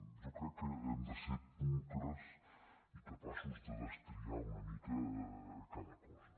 jo crec que hem de ser pulcres i capaços de destriar una mica cada cosa